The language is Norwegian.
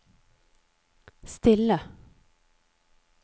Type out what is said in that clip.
stille